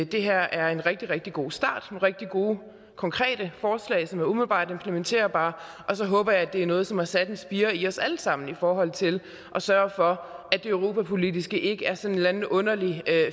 det her er en rigtig rigtig god start rigtig gode konkrete forslag som er umiddelbart implementerbare og så håber jeg at det er noget som har sat en spire i os alle sammen i forhold til at sørge for at det europapolitiske ikke er sådan en eller anden underlig